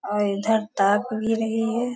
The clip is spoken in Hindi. और इधर ताक भी रही है।